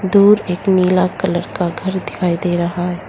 दूर एक नीला कलर का घर दिखाई दे रहा है।